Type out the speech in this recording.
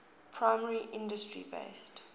primary industry based